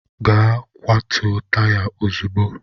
Gaa kwatuo taya ozugbo!